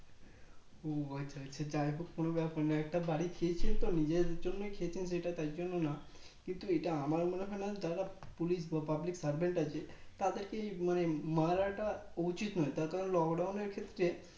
ও আচ্ছা আচ্ছা যাক কোনো ব্যাপার নাই একটা বাড়ি খসেছেন তো নিজের জন্য খেছেন তাই জন্য না কিন্তু এটা আমার মনে হয় না দাদা Police বা Public Servant আছে তাদেরকে এই মানে মারাটা উচিত নয় তার কারণ Lockdown এর ক্ষেত্রে